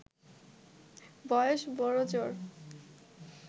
বয়স বড়জোর